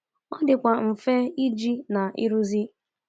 Ọ dịkwa mfe iji na ịrụzi.